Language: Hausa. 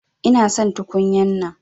Ina son tukunya'nan.